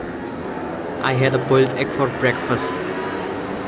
I had a boiled egg for breakfast